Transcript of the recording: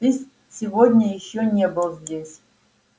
ты сегодня ещё не был здесь